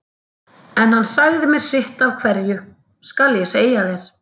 En hann sagði mér sitt af hverju, skal ég segja þér.